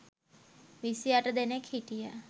විසි අට දෙනෙක් හිටිය